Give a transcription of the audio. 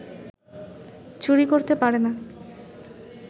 চুরি করতে পারে না